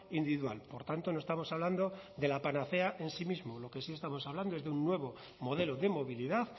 individual por tanto no estamos hablando de la panacea en sí mismo lo que sí estamos hablando es de un nuevo modelo de movilidad